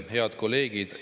Head kolleegid!